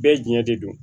Bɛɛ ɲɛ de don